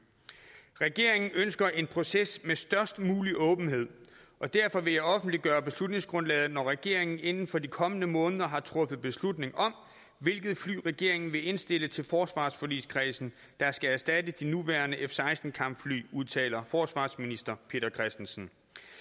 regeringen ønsker en proces med størst mulig åbenhed derfor vil jeg offentliggøre beslutningsgrundlaget når regeringen inden for de kommende måneder har truffet beslutning om hvilket fly regeringen vil indstille til forsvarsforligskredsen der skal erstatte de nuværende f16 kampfly udtaler forsvarsminister peter christensen